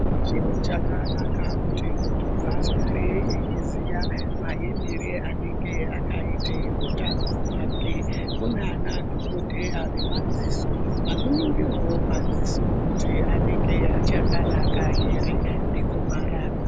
Chiro chakanaka kuti muntu agare eiziya utano hwake. Kune madhokodheya yemadziso vanoningira wo madziso kuti anenge achakanaka ere nekumarapa.